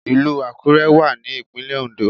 Ìlù Àkúrẹ́ wà ní ìpínlẹ̀ Oǹdó